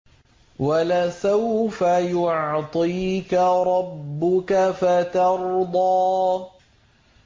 وَلَسَوْفَ يُعْطِيكَ رَبُّكَ فَتَرْضَىٰ